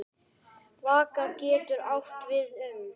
Vaka getur átt við um